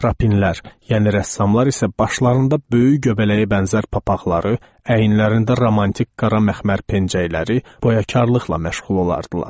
Rapinlər, yəni rəssamlar isə başlarında böyük göbələyəbənzər papaqları, əyinlərində romantik qara məxmər pençəkləri, boyakarlıqla məşğul olardılar.